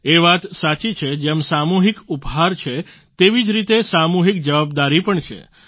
એ વાત સાચી છે જેમ સામૂહિક ઉપહાર છે તેવી જ રીતે સામૂહિક જવાબદારી પણ છે